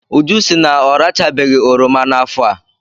Uju sị na ọrachabeghị oroma n'afọ a.